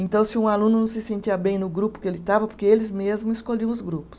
Então, se um aluno não se sentia bem no grupo que ele estava, porque eles mesmos escolhiam os grupos.